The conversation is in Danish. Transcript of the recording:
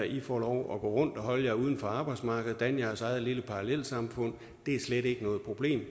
i får lov at gå rundt og holde jer uden for arbejdsmarkedet og danne jeres eget lille parallelsamfund det er slet ikke noget problem